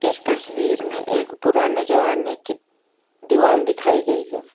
इस तस्वीर में एक पुराने जमाने की दीवाल दिखाई गई है।